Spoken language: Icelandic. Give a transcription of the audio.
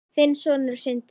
Þinn sonur, Sindri.